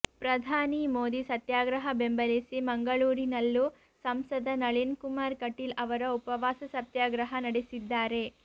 ಪ್ರಧಾನಿ ಮೋದಿ ಸತ್ಯಾಗ್ರಹ ಬೆಂಬಲಿಸಿ ಮಂಗಳೂರಿನಲ್ಲೂ ಸಂಸದ ನಳೀನ್ ಕುಮಾರ್ ಕಟೀಲ್ ಅವರು ಉಪವಾಸ ಸತ್ಯಾಗ್ರಹ ನಡೆಸಿದ್ದಾರೆ